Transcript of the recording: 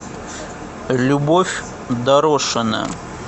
любовь дорошина